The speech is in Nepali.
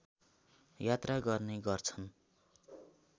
यात्रा गर्ने गर्छन्